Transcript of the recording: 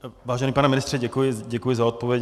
Vážený pane ministře, děkuji za odpověď.